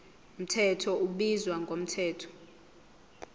mthetho ubizwa ngomthetho